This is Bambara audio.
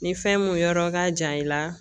Ni fɛn mun yɔrɔ ka jan i la